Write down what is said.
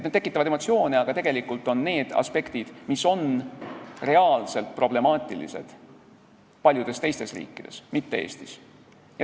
Need tekitavad emotsioone, aga tegelikult on need aspektid, mis on reaalselt problemaatilised paljudes teistes riikides, mitte Eestis.